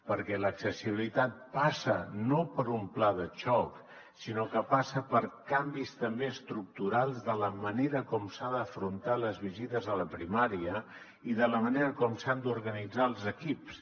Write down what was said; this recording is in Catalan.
perquè l’accessibilitat passa no per un pla de xoc sinó que passa per canvis també estructurals de la manera com s’han d’afrontar les visites a la primària i de la manera com s’han d’organitzar els equips